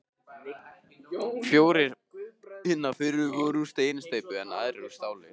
Fjórir hinna fyrri voru úr steinsteypu, en aðrir úr stáli.